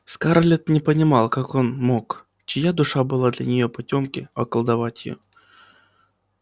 скарлетт не понимала как мог он чья душа была для нее потёмки околдовать её